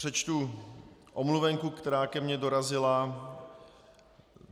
Přečtu omluvenku, která ke mně dorazila.